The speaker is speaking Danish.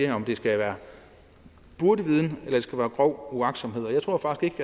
om det skal være burdeviden eller om det skal være grov uagtsomhed og jeg tror faktisk